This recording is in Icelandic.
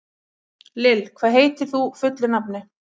Lill, hvað heitir þú fullu nafni?